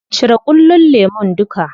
Cire ƙullon lemun duka.